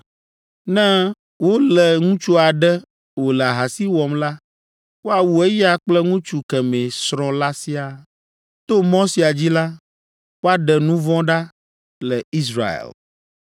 Ne wolé ŋutsu aɖe wòle ahasi wɔm la, woawu eya kple ŋutsu kemɛ srɔ̃ la siaa. To mɔ sia dzi la, woaɖe nu vɔ̃ ɖa le Israel.